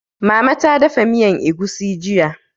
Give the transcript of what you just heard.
Mama ta dafa miyan egusi jiya